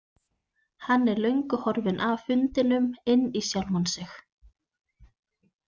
Hann er löngu horfinn af fundinum inn í sjálfan sig.